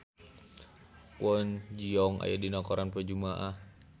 Kwon Ji Yong aya dina koran poe Jumaah